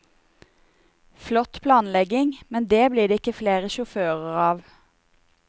Flott planlegging, men det blir det ikke flere sjåfører av.